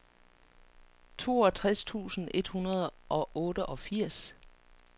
toogtres tusind et hundrede og otteogfirs